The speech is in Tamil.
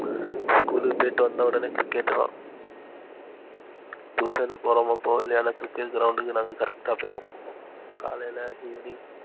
school க்கு போய்ட்டு வந்த ஒடனே cricket தான் tuition க்கு போறோமோ போலையோ cricketground க்கு நாங்க correct ஆ போயிருவோம் காலைல, evening,